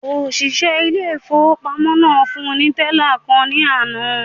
Òṣìṣẹ́ ilé-ìfowópamọ́sí náà fún ní tẹ́là kan ní àná